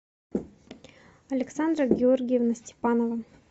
александра георгиевна степанова